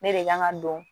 Ne de kan ka don